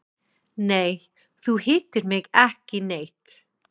Nei, þú hittir mig ekki neitt.